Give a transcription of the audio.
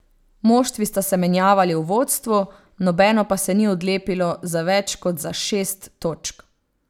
Moštvi sta se menjavali v vodstvu, nobeno pa se ni odlepilo za več kot za šest točk.